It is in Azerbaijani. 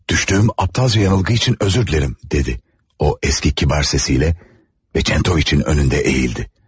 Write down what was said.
Düşdüyüm aptalca yanılgı üçün üzr istəyirəm, dedi, o eski kibar səsiylə və Çentoviçin önündə əyildi.